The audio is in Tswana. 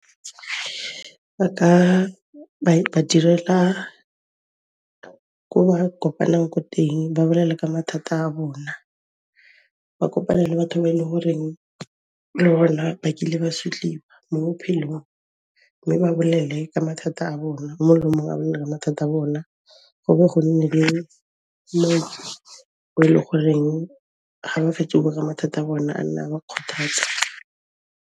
Ba ka ba ba direla ko ba kopanang ko teng, ba bolele ka mathata a bona. Ba kopane le batho ba e le horeng le bona ba kile ba sotliwa mo bophelong, mme ba bolele ka mathata a bona, o mongwe le o mongwe a bolele ka mathata a bona, go bo go nne le mo e le goreng ga ba fetsa go bua mathata a bona, a nna a ba kgothatsa.